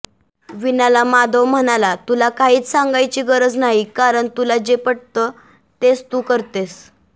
वीणाला माधव म्हणाला तुला काहीच सांगायची गरज नाही कारण तुला जे पटत तेच तू करतेस